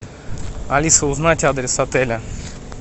алиса узнать адрес отеля